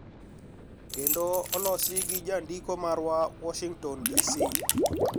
Kendo olosi gi jandiko marwa, Washington DC